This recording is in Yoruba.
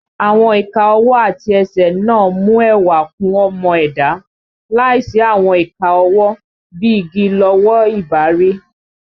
Àwọn ìka ọwọ́ àti ẹsẹ̀ náà mú ẹwà kún ọmọ ẹ̀dá, láìsí àwọn ìka ọwọ́, bí i igi lọwọ́ ì bá rí